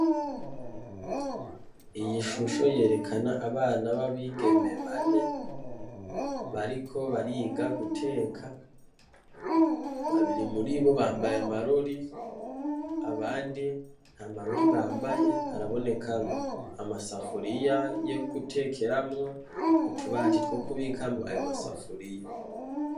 Iyi shusho yerekana abana b'abigeme bane, bariko bariga guteka babiri muribo bambaye amarori, abandi ntamarori bambaye, haraboneka amasafuriya yogutekeramwo, utubati twokubikamwo ayo masafuriya.